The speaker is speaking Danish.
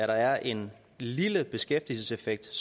der er en lille beskæftigelseseffekt